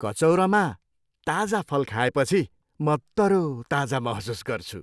कचौरामा ताजा फल खाएपछि म तरोताजा महसुस गर्छु।